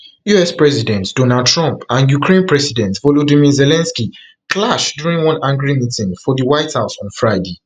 us president donald trump and ukraine president volodymyr zelensky clash during one angry meeting for di white house on friday